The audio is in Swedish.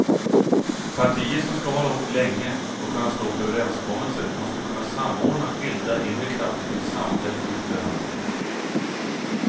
Partier som ska hålla ihop länge och kunna stå för överenskommelser måste kunna samordna skilda inre krafter till samfälld yttre handling.